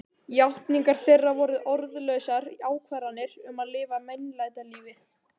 Játningar þeirra voru orðlausar ákvarðanir um að lifa meinlætalífi.